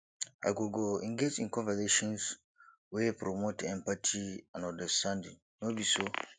i go go engage in conversations wey promote empathy and understanding no be so